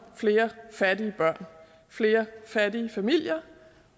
flere fattige børn flere fattige familier